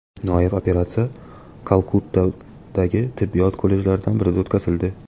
Noyob operatsiya Kalkuttadagi tibbiyot kollejlaridan birida o‘tkazildi.